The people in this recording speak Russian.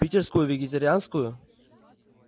питерскую вегетарианскую